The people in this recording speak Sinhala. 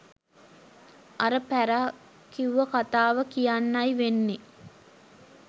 අර පැරා කිව්ව කතාව කියන්නයි වෙන්නෙ